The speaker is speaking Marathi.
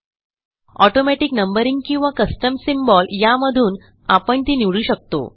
ऑटोमॅटिक नंबरिंग किंवा कस्टम सिम्बॉल यामधून आपण ती निवडू शकतो